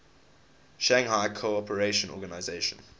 shanghai cooperation organization